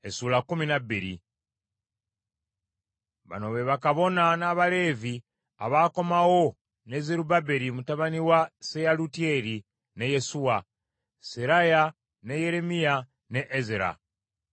Bano be bakabona n’Abaleevi abaakomawo ne Zerubbaberi mutabani wa Seyalutyeri ne Yesuwa: Seraya, ne Yeremiya, ne Ezera,